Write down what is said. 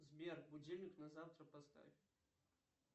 сбер будильник на завтра поставь